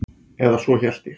Eða svo hélt ég.